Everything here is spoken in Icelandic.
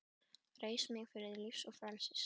Reis mig við til lífs og frelsis!